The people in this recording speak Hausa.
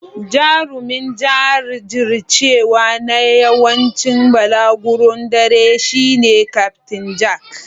Jarumin jajircewa na yawancin balaguron dare shine Kyaftin Jack.